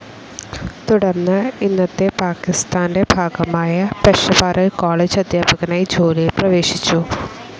തുടർന്ന് ഇന്നത്തെ പാകിസ്താന്റെ ഭാഗമായ പെഷവാറിൽ കോളജ് അധ്യാപകനായി ജോലിയിൽ പ്രവേശിച്ചു.